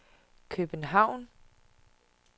København